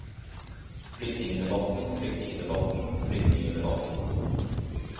flyktningedebatten flyktningedebatten flyktningedebatten